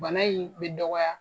Bana in bɛ dɔgɔ